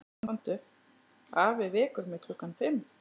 Afi vekur mig klukkan fimm.